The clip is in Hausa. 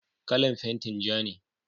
kalan fentin ja ne